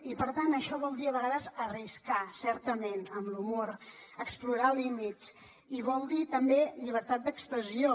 i per tant això vol dir a vegades arriscar certament amb l’humor explorar límits i vol dir també llibertat d’expressió